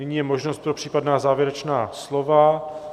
Nyní je možnost pro případná závěrečná slova.